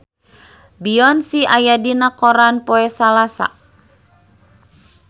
Beyonce aya dina koran poe Salasa